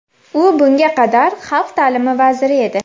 U bunga qadar xalq taʼlimi vaziri edi.